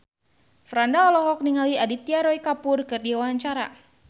Franda olohok ningali Aditya Roy Kapoor keur diwawancara